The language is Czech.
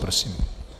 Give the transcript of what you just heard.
Prosím.